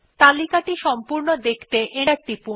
এই লিস্ট টি পুরো দেখতে এন্টার টিপুন